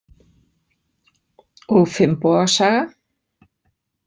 Og Finnboga saga?